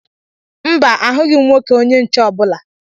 Mba, ahụghị m nwoke onye nche ọbụla